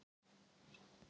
Jólatré á milljarð